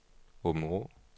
Aabenraa